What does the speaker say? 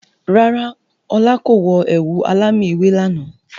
Rárá, ọlá kò wọ ẹ̀wù alámì ewé lànà.